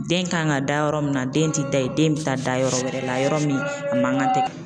Den kan ka da yɔrɔ min na, den ti da yen, den bi taa da yɔrɔ wɛrɛ la, yɔrɔ min a man kan tɛ